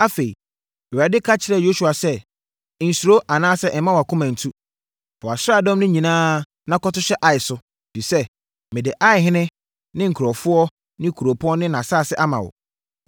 Afei, Awurade ka kyerɛɛ Yosua sɛ, “Nsuro anaasɛ mma wʼakoma nntu. Fa wʼasraadɔm no nyinaa na kɔto hyɛ Ai so, ɛfiri sɛ, mede Aihene, ne nkurɔfoɔ, ne kuropɔn ne nʼasase ama wo.